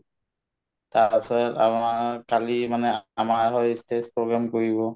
তাৰপাছত আমাৰ কালি মানে আমাৰ হৈ ই stage program কৰিব